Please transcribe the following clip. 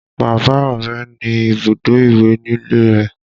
Bàbá Ọrẹ ní ibùdó ìwẹ̀ nílé rẹ̀